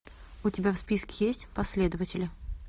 у тебя в списке есть последователи